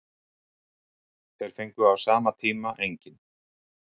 Þeir fengu á sama tíma engin.